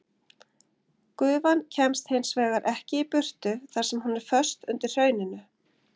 Gufan kemst hins vegar ekki í burtu þar sem hún er föst undir hrauninu.